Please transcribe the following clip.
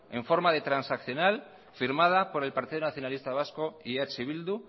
en forma de transaccional firmada por el partido nacionalista vasco y eh bildu